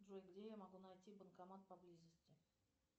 джой где я могу найти банкомат поблизости